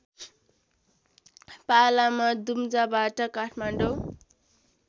पालामा दुम्जाबाट काठमाडौँ